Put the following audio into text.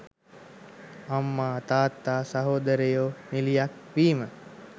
අම්මා තාත්තා සහෝදරයෝ නිළියක් වීම